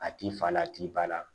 A t'i fa la a t'i ba la